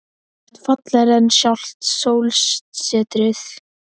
Þú ert fallegri en sjálft sólsetrið.